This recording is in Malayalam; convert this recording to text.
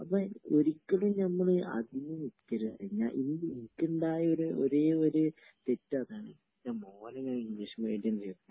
അപ്പൊ ഒരിക്കലും ഞമ്മള് അതിന് നിക്കരുത്. എനിക്കുണ്ടായ ഒരേയൊരു തെറ്റ് അതാണ്. എൻ്റെ മോനെ ഞാൻ ഇംഗ്ളീഷ് മീഡിയം ചേർത്തത് .